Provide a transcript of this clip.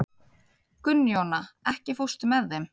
Gunnjóna, ekki fórstu með þeim?